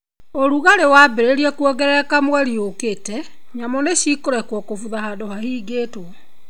ũrugarĩ waambĩrĩria kũongerereka mweri ũkĩte, nyamũ nĩcikũrekwo gũbutha handũ hahingĩtwo.